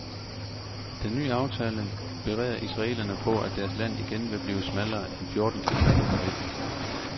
Den ny aftale bereder israelerne på, at deres land igen vil blive smallere end fjorten kilometer på midten.